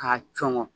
K'a cunnɔ